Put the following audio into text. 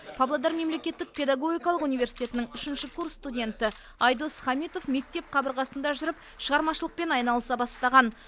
павлодар мемлекеттік педагогикалық университетінің үшінші курс студенті айдос хамитов мектеп қабырғасында жүріп шығармашылықпен айналыса бастаған